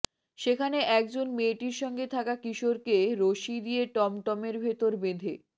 সেখানে একজন মেয়েটির সঙ্গে থাকা কিশোরকে রশি দিয়ে টমটমের ভেতর বেঁধে